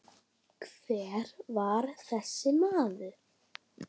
Hver var þessi maður?